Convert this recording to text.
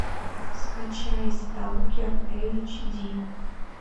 скачай сталкер эйч ди